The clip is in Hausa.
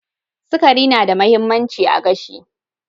Sakari na da mahimmanci a gashi.